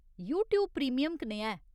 YouTube premium कनेहा ऐ ?